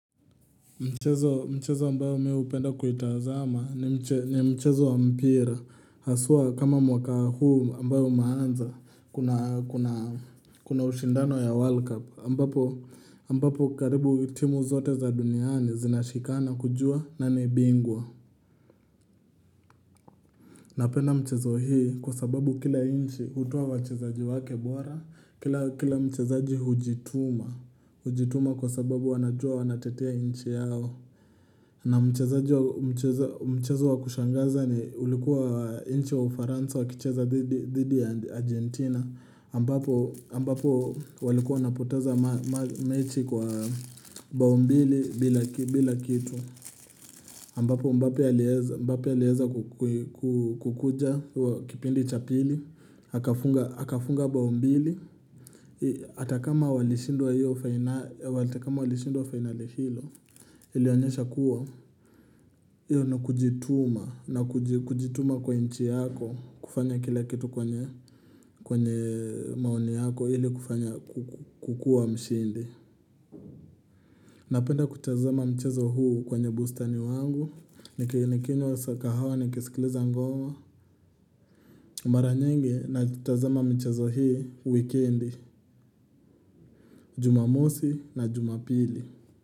Mchezo mchezo ambao mimi hupenda kuitazama ni mchezo wa mpira haswa kama mwaka huu ambao umeanza kuna ushindano ya world cup ambapo karibu timu zote za duniani zinashikana kujua nani bingwa. Napenda mchezo hii kwa sababu kila inchi hutoa wachezaji wake bora kila mchezaji hujituma hujituma kwa sababu wanajua wanatetetea nchi yao. Na mchezo wa kushangaza ni ulikuwa nchi wa ufaransa wa kicheza dhidi ya Argentina ambapo walikuwa wanapoteza mechi kwa bao mbili bila kitu ambapo mbappw aliweza kukuja kipindi cha pili akafunga bao mbili hata kama walishindwa fainali hilo Ilionyesha kuwa, hiyo ni kujituma na kujituma kwa nchi yako kufanya kila kitu kwenye maoni yako ili kufanya kukua mshindi. Napenda kutazama mchezo huu kwenye bustani wangu, nikinywa kahawa nikisikiliza ngoa. Mara nyingi natazana mchezo hii wikendi, jumamosi na jumapili.